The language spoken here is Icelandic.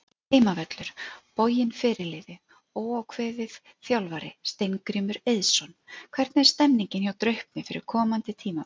Heimavöllur: Boginn Fyrirliði: Óákveðið Þjálfari: Steingrímur Eiðsson Hvernig er stemningin hjá Draupni fyrir komandi tímabil?